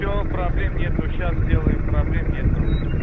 все проблем нету сейчас сделаем проблем нету